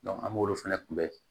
an b'olu fɛnɛ kunbɛn